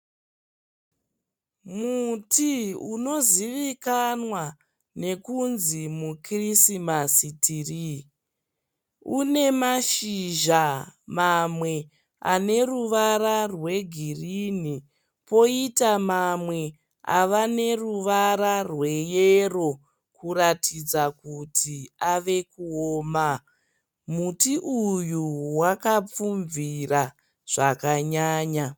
Muti unozivikanwa nekunzi mu kirisimasi tree. Une mashizha mamwe aneruvara rwe girinhi. Poita mamwe ava neruvara rwe yero kuratidza kuti ave kuoma. Muti uyu wakapfumvira zvakanyanya.